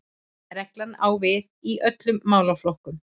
Reglan á við í öllum málaflokkum